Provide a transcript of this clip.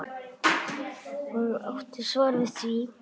Hún átti svar við því.